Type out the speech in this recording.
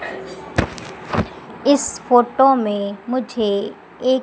इस फोटो में मुझे ए--